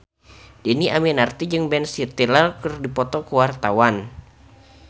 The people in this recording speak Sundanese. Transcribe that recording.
Dhini Aminarti jeung Ben Stiller keur dipoto ku wartawan